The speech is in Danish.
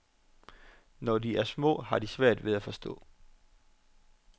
Når de er små, har de svært ved at forstå.